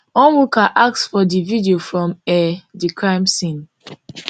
onwuka ask for di video from um di crime scene